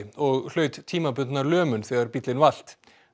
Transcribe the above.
og hlaut tímabundna lömun þegar bíllinn valt